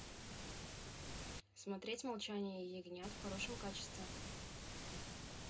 смотреть молчание ягнят в хорошем качестве